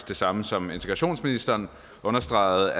det samme som integrationsministeren understregede